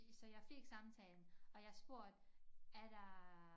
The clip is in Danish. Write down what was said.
Så jeg fik samtalen og jeg spurgte er der